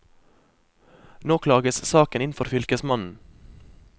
Nå klages saken inn for fylkesmannen.